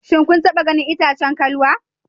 Shin kun taba ganin itacen kalwa?